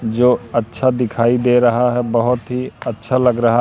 जो अच्छा दिखाई दे रहा है बहोत ही अच्छा लग रहा--